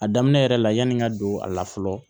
A daminɛ yɛrɛ la yani n ka don a la fɔlɔ